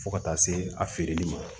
Fo ka taa se a feereli ma